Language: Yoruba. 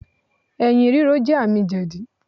Ẹ̀̀yìn rírò jẹ́ àmì jẹ̀dí.